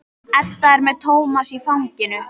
Edda er með Tómas í fanginu.